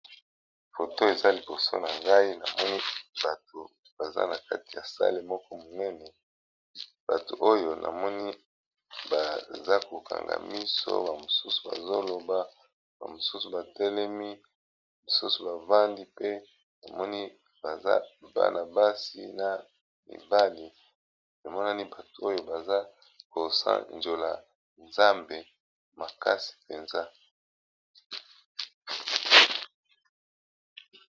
Foto eza liboso na ngai namoni bato baza na kati ya sale moko monene bato oyo namoni baza kokanga miso bamosusu bazoloba bamosusu batelemi misusu bafandi pe namoni baza banabasi na mibali emonani bato oyo baza kosanjola nzambe makasi mpenza.